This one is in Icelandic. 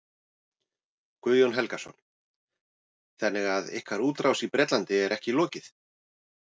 Guðjón Helgason: Þannig að ykkar útrás í Bretlandi er ekki lokið?